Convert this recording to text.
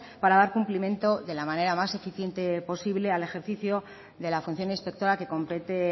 para dar cumplimiento de la manera más eficiente posible al ejercicio de la función inspectora que compete